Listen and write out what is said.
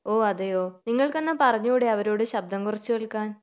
ഓഹ് അതെയോ നിങ്ങൾക്കെന്നാൽ പറഞ്ഞൂടെ അവരോട് ശബ്ദം കുറച്ച് കേൾക്കാൻ